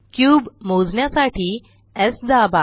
cube मोजण्यासाठी स् दाबा